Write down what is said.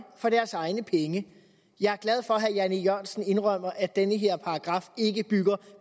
for deres egne penge jeg er glad for at herre jan e jørgensen indrømmer at den her paragraf ikke bygger